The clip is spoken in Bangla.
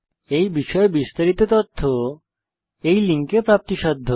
এই বিষয়ে বিস্তারিত তথ্য এই লিঙ্কে প্রাপ্তিসাধ্য